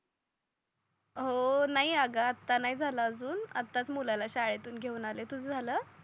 हो नाही आग आता नाही झाल अजून आताच मुलाला शाळेतून घेऊन आलाय तुझ झाल?